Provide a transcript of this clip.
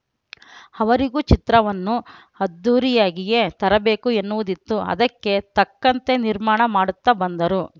ಅವರಿಗೂ ಚಿತ್ರವನ್ನು ಅದ್ಧೂರಿಯಾಗಿಯೇ ತರಬೇಕು ಎನ್ನುವುದಿತ್ತು ಅದಕ್ಕೆ ತಕ್ಕಂತೆ ನಿರ್ಮಾಣ ಮಾಡುತ್ತಾ ಬಂದರು